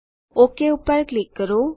okay પર click કરો